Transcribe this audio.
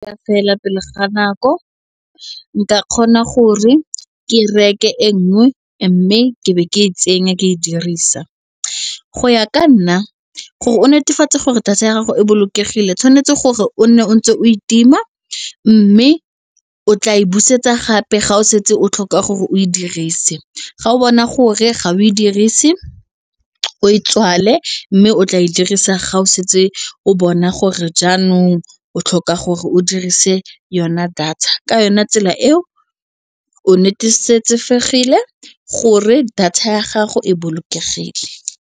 Ya fela pele ga nako, nka kgona gore ke reke e nngwe mme ke be ke e tsenya ke e dirisa. Go ya ka nna gore o netefatse gore thata ya gago e bolokegile tshwanetse gore o nne o ntse o e tima mme o tla e busetsa gape ga o setse o tlhoka gore o e dirise, ga o bona gore ga o e dirise o e tswale mme o tla e dirisa ga o setse o bona gore jaanong o tlhoka gore o dirise yona data ka yona tsela eo o gore data ya gago e bolokegile.